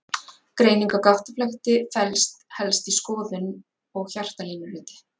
Greining á gáttaflökti felst helst í skoðun og hjartalínuriti.